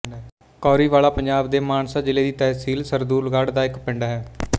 ਕੌਰੀਵਾਲਾ ਪੰਜਾਬ ਦੇ ਮਾਨਸਾ ਜ਼ਿਲ੍ਹੇ ਦੀ ਤਹਿਸੀਲ ਸਰਦੂਲਗੜ੍ਹ ਦਾ ਇੱਕ ਪਿੰਡ ਹੈ